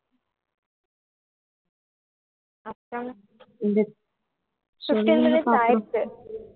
அப்புறம் fifteen mintues ஆயுடுச்சி